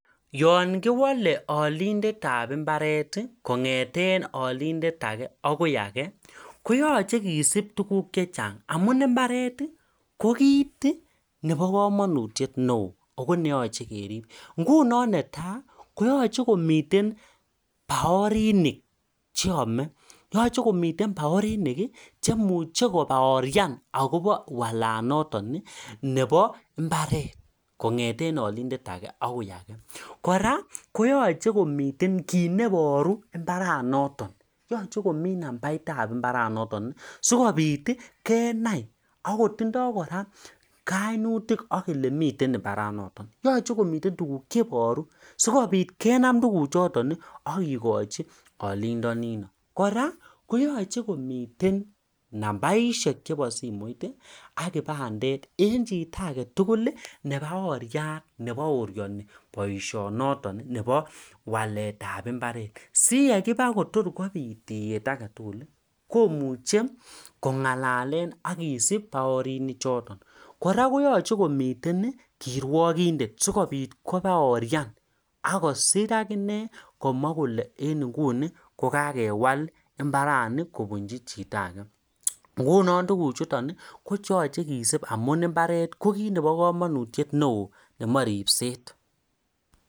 yoon kiwole olindetab mbareti kongeten olinde ake akoi ake koyoche kisup tuguk chechang amun imbareti kokit nebo komonutiet neoo ako neyoche kerib ako ngunon neta yoche komiten baoriniki chemuche kobaorian akobo walanotoni nebo mbaret kongeten olindet ake akoi ake kora koyoche komiten kit neboru mbaranotok yoche komit nambaitab mbaranotok sikopit kenai akotindo kora kainutik akele miten mbaranotok yoche komiten tugk cheboru sikopit kenam tuguchotoni akikochi olindonino kora koyoche komiten nambaishek chebo simoit ak kibandet en chito agetugul nebaoriat neboorioni boishonotoki nepo waletab mbaret siyekipa kotkopit tiyet agetuguli komuche kongalalen akisup baorinichotok kora koyoche komiten kirwokindet sikopit kobaorian akosir akine komwa kole en nguni kokewal mbarani kobunchi chito ake ngunon tuguchutoni kocheyoche kisub amun mbareti kokit nebo komonutiet neoo nemoe ribset